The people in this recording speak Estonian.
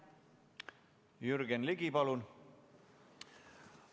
Jürgen Ligi, palun!